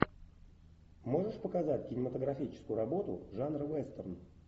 можешь показать кинематографическую работу жанра вестерн